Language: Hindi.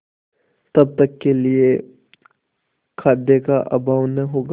तब तक के लिए खाद्य का अभाव न होगा